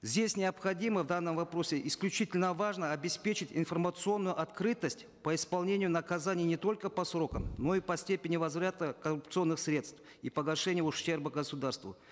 здесь необходимо в данном вопросе исключительно важно обеспечить информационную открытость по исполнению наказаний не только по срокам но и по степени возврата коррупционных средств и погашения ущерба государству